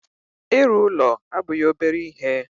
Ịrụ ụlọ abụghị obere ihe